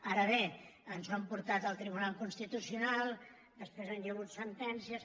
ara bé ens ho han portat al tribunal cons·titucional després hi ha hagut sentències